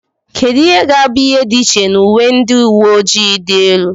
kedu ihe ga-abụ ihe dị iche na uwe ndị uwe ojii dị elu